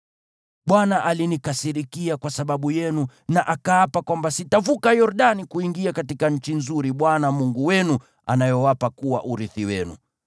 Bwana alinikasirikia kwa sababu yenu na akaapa kwamba sitavuka Yordani kuingia katika nchi nzuri Bwana Mungu wenu anayowapa kuwa urithi wenu.